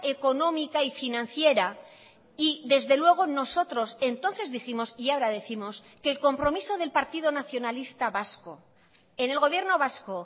económica y financiera y desde luego nosotros entonces dijimos y ahora décimos que el compromiso del partido nacionalista vasco en el gobierno vasco